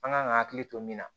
An kan ka hakili to min na